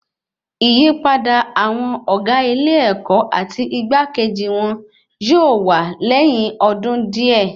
Ìyípadà àwọn ọgá ilé-èkó àti igbakeji wọn yóò wà lẹyìn ọdún díẹ̀